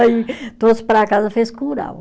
Aí trouxe para casa, fez curau.